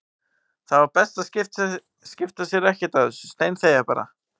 Það var best að skipta sér ekkert af þessu, steinþegja bara.